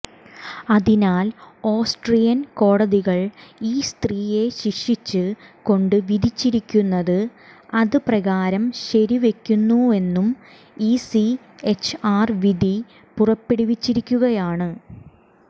അതിനാൽ ഓസ്ട്രിയൻ കോടതികൾ ഈ സ്ത്രീയെ ശിക്ഷിച്ച് കൊണ്ട് വിധിച്ചിരിക്കുന്നത് അത് പ്രകാരം ശരി വയ്ക്കുന്നുവെന്നും ഇസിഎച്ച്ആർ വിധി പുറപ്പെടുവിച്ചിരിക്കുകയാണ്